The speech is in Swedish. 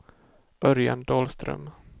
Örjan Dahlström